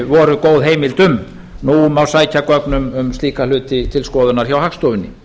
voru góð heimild um nú má sækja gögn um slíka hluti til skoðunar hjá hagstofunni